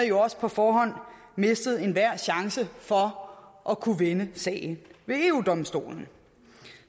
jo også på forhånd mistet enhver chance for at kunne vinde sagen ved eu domstolen